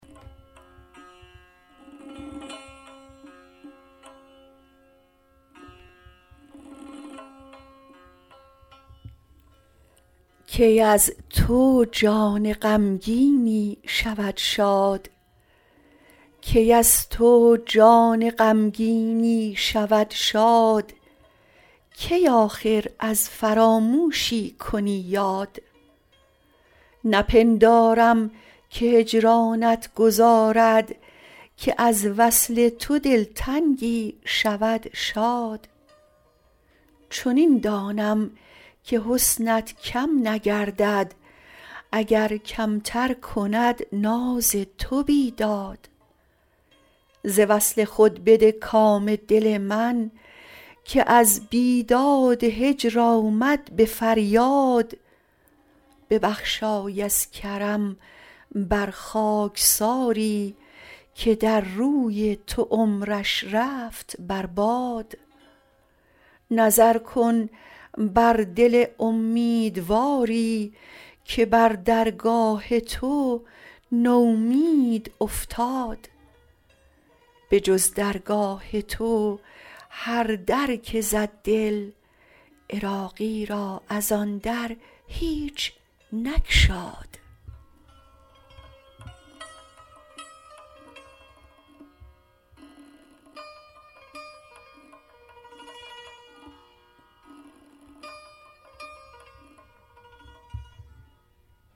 کی از تو جان غمگینی شود شاد کی آخر از فراموشی کنی یاد نپندارم که هجرانت گذارد که از وصل تو دلتنگی شود شاد چنین دانم که حسنت کم نگردد اگر کمتر کند ناز تو بیداد ز وصل خود بده کام دل من که از بیداد هجر آمد به فریاد ببخشای از کرم بر خاکساری که در روی تو عمرش رفت بر باد نظر کن بر دل امیدواری که بر درگاه تو نومید افتاد بجز درگاه تو هر در که زد دل عراقی را ازان در هیچ نگشاد